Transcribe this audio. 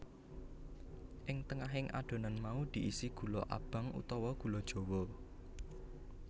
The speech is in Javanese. Ing tengahing adonan mau diisi gula abang utawa gula jawa